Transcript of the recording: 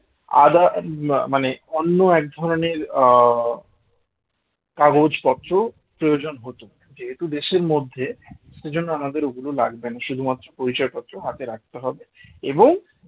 others মানে অন্য এক ধরনের আহ কাগজপত্র প্রয়োজন হতো যেহেতু দেশের মধ্যে সেই জন্য আমাদের ওগুলো লাগবে না শুধুমাত্র পরিচয় পত্র হাতে রাখতে হবে এবং